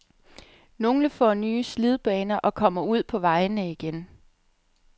Nogle får nye slidbaner og kommer ud på vejene igen.